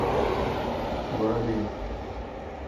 воробей